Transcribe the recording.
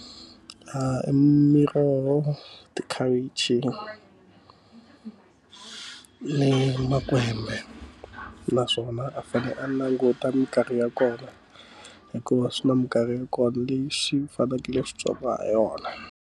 I miroho, makhavichi, ni makwembe. Naswona a fanele a languta minkarhi ya kona, hikuva swi na minkarhi ya kona leyi xi fanekele xi byariwa ha yona.